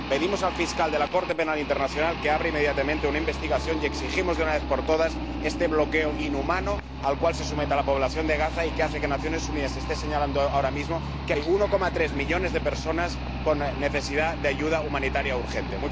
Pedimos al fiscal de la Corte Penal Internacional que abra inmediatamente una investigación y exigimos, de una vez por todas, el fin de este bloqueo inhumano al cual se somete a la población de Gaza y que hace que Naciones Unidas esté señalando ahora mismo que hay 1,3 millones de personas con necesidad de ayuda humanitaria urgente.